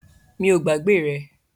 Mi o gbàgbé rẹ